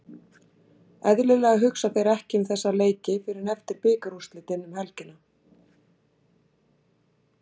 Eðlilega hugsa þeir ekki um þessa leiki fyrr en eftir bikarúrslitin um helgina.